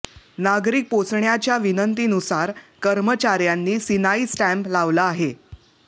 नागरीक पोहोचण्याच्या विनंतीनुसार कर्मचार्यांनी सिनाई स्टॅंप लावला आहे